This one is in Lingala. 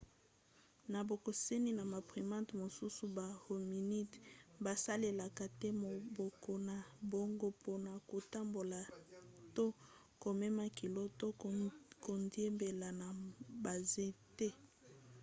na bokeseni na ba primates mosusu ba hominidés basalelaka te maboko na bango mpona kotambola to komema kilo to kodiembela na banzete